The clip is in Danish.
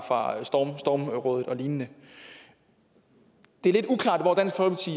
stormrådet og lignende det er lidt uklart